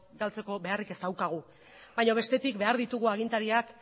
galtzeko beharrik ez daukagu baina bestetik behar ditugu agintariak